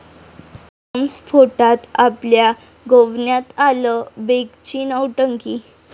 बॉम्बस्फोटात आपल्या गोवण्यात आलं, बेगची नौटंकी